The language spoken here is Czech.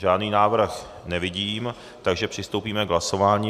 Žádný návrh nevidím, takže přistoupíme k hlasování.